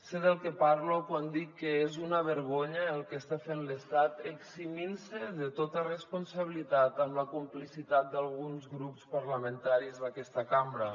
sé del que parlo quan dic que és una vergonya el que està fent l’estat eximint se de tota responsabilitat amb la complicitat d’alguns grups parlamentaris d’aquesta cambra